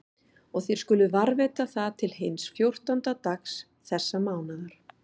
Og þér skuluð varðveita það til hins fjórtánda dags þessa mánaðar.